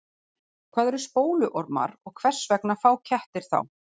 Hvað eru spóluormar og hvers vegna fá kettir þá?